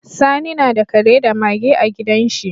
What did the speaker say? Sani nada Kare da Mage a gidan shi